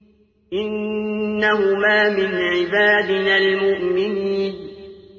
إِنَّهُمَا مِنْ عِبَادِنَا الْمُؤْمِنِينَ